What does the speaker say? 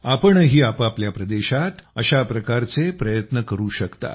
आपणही आपापल्या प्रदेशात अशा प्रकारचे प्रयत्न करू शकता